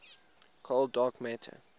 cold dark matter